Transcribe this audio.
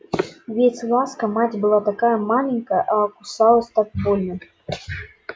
ведь ласка мать была такая маленькая а кусалась так больно